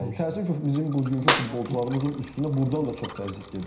Təəssüf ki, bizim bugünkü futbolçularımızın üstünə burdan da çox təzyiq gedir.